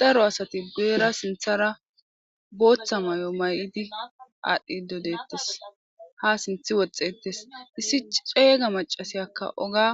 daro asati geera sinthara booththa may7o may7idi aadhdhi dodettes ha sinthi woxxetes issi ceeyga macasiyakka oga.